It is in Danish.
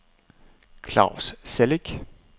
Claus Celik